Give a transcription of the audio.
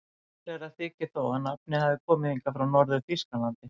Líklegra þykir þó að nafnið hafi komið hingað frá Norður-Þýskalandi.